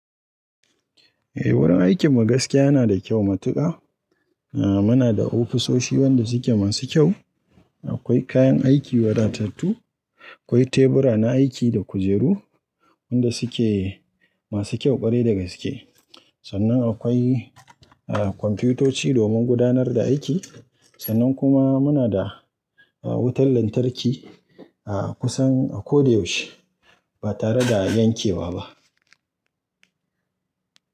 Eh wurin aikin mu gaskiya yana da kyau matuka. Muna da ofisoshi wanda suke masu kyau. Akwai kayan aiki wadatattu, akwai tebura na aiki da kujeru wanda suke masu kyau ƙwarai da gaske. Sannan akwai a, kwamfutoci domin gudanar da aiki. Sannan kuma muna da wutar lantarki a kusan a ko da yaushe ba tare da yankewa ba.